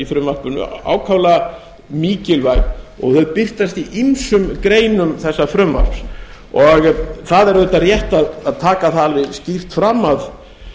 frumvarpinu ákaflega mikilvæg og þau birtast í ýmsum greinum þessa frumvarps það er auðvitað rétt að taka það alveg skýrt fram að